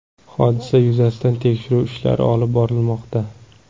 Hodisa yuzasidan tekshiruv ishlari olib borilmoqda.